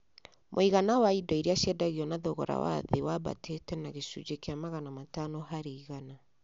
Mũigana wa indo iria ciendagio na thogora wa thĩ wambatire na gĩcunjĩ kĩa magana matano harĩ igana